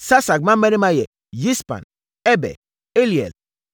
Sasak mmammarima yɛ Yispan, Eber, Eliel,